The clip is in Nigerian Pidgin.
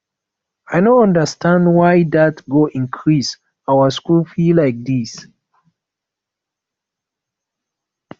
i no understand why dat go increase our school fees like dis